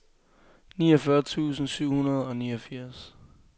niogfyrre tusind syv hundrede og niogfirs